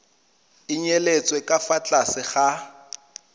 nyetswe ka fa tlase ga